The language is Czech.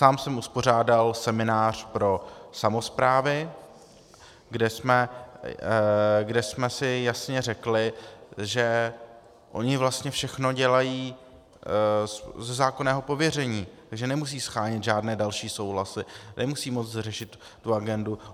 Sám jsem uspořádal seminář pro samosprávy, kde jsme si jasně řekli, že oni vlastně všechno dělají ze zákonného pověření, takže nemusí shánět žádné další souhlasy, nemusí moc řešit tu agendu.